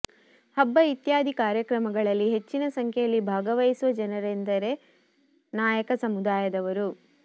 ಹಬ್ಬ ಇತ್ಯಾದಿ ಕಾರ್ಯಕ್ರಮಗಳಲ್ಲಿ ಹೆಚ್ಚಿನ ಸಂಖ್ಯೆಯಲ್ಲಿ ಭಾಗವಹಿಸುವ ಜನರೆಂದರೆ ನಾಯಕ ಸಮುದಾಯದವರು